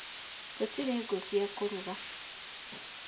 Tũtirĩ ngũcia kũruga